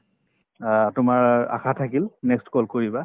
অ, তোমাৰ আশা থাকিল next call কৰিবা